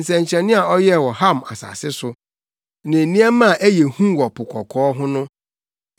nsɛnkyerɛnne a ɔyɛɛ wɔ Ham asase so ne nneɛma a ɛyɛ hu wɔ Po Kɔkɔɔ ho no.